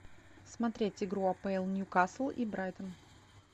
смотреть игру апл ньюкасл и брайтон